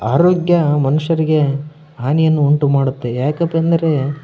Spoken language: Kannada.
ಅರೋಗ್ಯ ಮನುಷ್ಯನಿಗೆ ಹಾನಿಯನ್ನು ಉಂಟು ಮಾಡುತ್ತೆ ಯಾಕಂತಂದ್ರೆ --